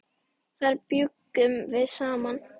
Þar bjuggum við saman.